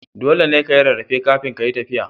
Dole ka yi rarrafe kafin kayi tafiya.